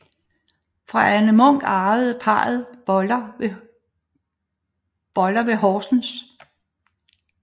Fra Anne Munk arvede parret Boller ved Horsens